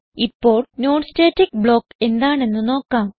ഇപ്പോൾ non static block എന്താണെന്ന് നോക്കാം